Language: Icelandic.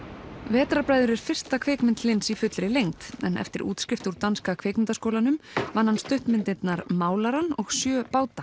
vetrarbræður er fyrsta kvikmynd Hlyns í fullri lengd en eftir útskrift úr Danska kvikmyndaskólanum vann hann stuttmyndirnar málarann og sjö báta